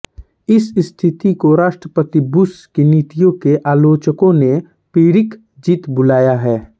इस स्थिति को राष्ट्रपति बुश की नीतियों के आलोचकों ने पिरिक जीत बुलाया है